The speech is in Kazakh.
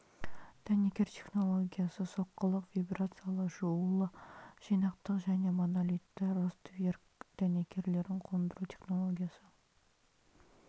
дәнекер технологиясы соққылық вибрациялы жуулы жинақтық және монолитті ростверк дәнекерлерін қондыру технологиясы